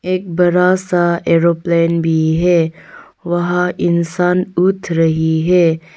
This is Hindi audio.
एक बड़ा सा एरोप्लेन भी है वहां इंसान उठ रही है।